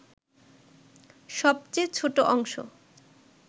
সবচেয়ে ছোট অংশ